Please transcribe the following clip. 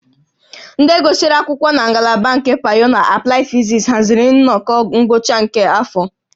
Ndị gụsịrị akwụkwọ na ngalaba nke Pyọọ na Aplaịd Fizis haziri nnọkọ ngwụcha nke afọ